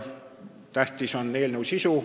Tähtis on eelnõu sisu.